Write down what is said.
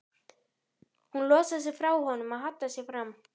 Hún losar sig frá honum og hallar sér fram.